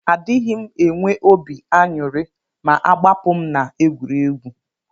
Adighim enwe obi anyuri ma agbapum na egwuregwu.